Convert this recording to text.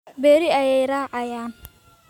Berri ayay raacayaan